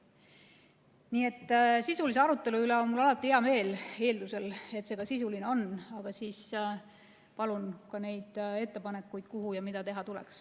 Nii et sisulise arutelu üle on mul alati hea meel – eeldusel, et see ka sisuline on –, aga siis palun ka neid ettepanekuid, mida teha tuleks.